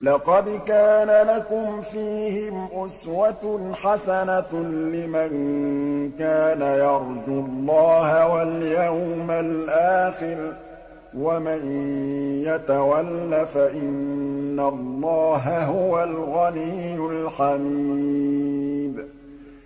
لَقَدْ كَانَ لَكُمْ فِيهِمْ أُسْوَةٌ حَسَنَةٌ لِّمَن كَانَ يَرْجُو اللَّهَ وَالْيَوْمَ الْآخِرَ ۚ وَمَن يَتَوَلَّ فَإِنَّ اللَّهَ هُوَ الْغَنِيُّ الْحَمِيدُ